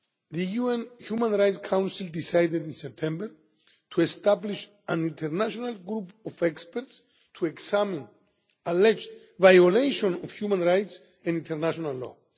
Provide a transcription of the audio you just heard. donors. The UN Human Rights Council decided in September to establish an international group of experts to examine alleged violations of human rights and international